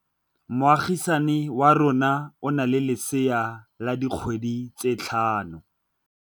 Moagisane wa rona o na le lesea la dikgwedi tse tlhano.